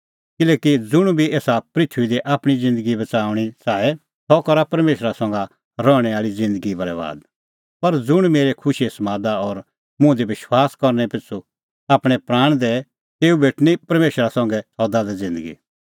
किल्हैकि ज़ुंण बी आपणअ प्राण बच़ाऊंणअ च़ाहे सह पाआ तेता बरैबाद पर ज़ुंण मेरै खुशीए समादा और मुंह पिछ़ू आपणैं प्राण शोटे सह बच़ाऊंणअ तेऊ